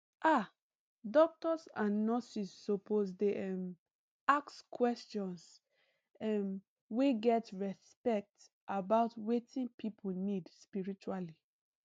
ah doctors and nurses suppose dey um ask questions um wey get respect about wetin people need spiritually